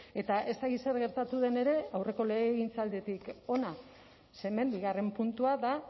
eta ez dakit zer gertatu den ere aurreko legegintzalditik hona ze hemen bigarren puntua da